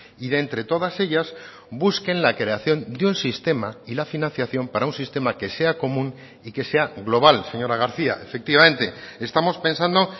y de entre todas ellas busquen la creación de un sistema y la financiación para un sistema que sea común y que sea global señora garcía efectivamente estamos pensando